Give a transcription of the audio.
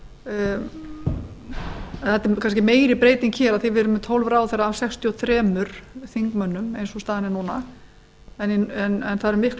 átt er kannski meiri breyting hér af því að við erum með tólf ráðherra af sextíu og þremur þingmönnum eins og staðan er núna en það eru miklu